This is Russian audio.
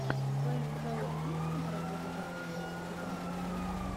в твоем каталоге есть киноработы жанра мультики по манге